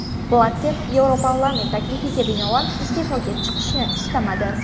Blatter Yevroparlament taklifiga binoan iste’foga chiqishni istamadi.